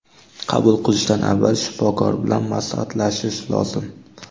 Qabul qilishdan avval shifokor bilan maslahatlashish lozim.